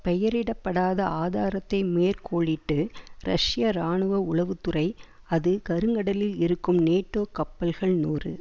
பெயரிடப்படாத ஆதாரத்தை மேற்கோளிட்டு ரஷ்ய இராணுவ உளவு துறை அது கருங்கடலில் இருக்கும் நேட்டோ கப்பல்கள் நூறு